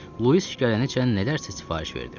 Lewis gələnəcən nələrsə sifariş verdim.